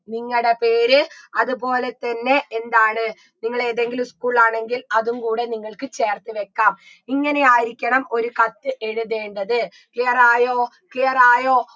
നിങ്ങടെ പേര് അത്പോലെ തന്നെ എന്താണ് നിങ്ങളേതെങ്കിലും school ആണെങ്കിൽ അതും കൂടെ നിങ്ങൾക്ക് ചേർത്ത് വെക്കാം ഇങ്ങനെയായിരിക്കണം ഒരു കത്ത് എഴുതേണ്ടത് clear ആയോ clear ആയോ